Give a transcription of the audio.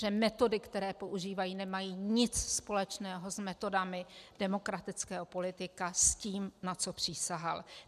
Že metody, které používá, nemají nic společného s metodami demokratického politika, s tím, na co přísahal.